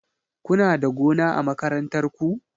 Kuna da gona a makarantar ku?